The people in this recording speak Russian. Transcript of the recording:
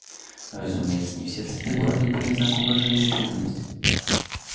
разумеется не все цветы города были в знак уважения и